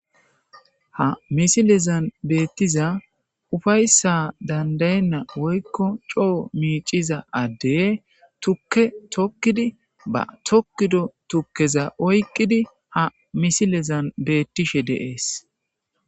ha misilezan beettiza ufayssa dandayenna woykko coo miiciza addey tukke tokkidi ba tokkido tukkeza oyqqidi ha misilezan beettishe deees